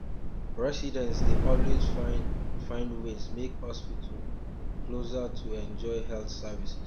um residents dey always find find ways make hospital um closer to enjoy health services